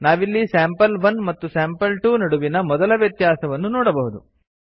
ನಾವಿಲ್ಲಿ ಸ್ಯಾಂಪಲ್1 ಮತ್ತು ಸ್ಯಾಂಪಲ್2 ನಡುವಿನ ಮೊದಲ ವ್ಯತ್ಯಾಸವನ್ನು ನೋಡಬಹುದು